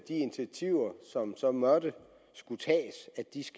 initiativer som så måtte skulle tages